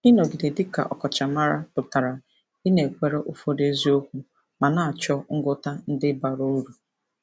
Ịnọgide dị ka ọkachamara pụtara ịnakwere ụfọdụ eziokwu ma na-achọ ngwọta ndị bara uru.